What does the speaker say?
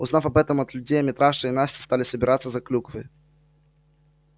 узнав об этом от людей митраша и настя стали собираться за клюквой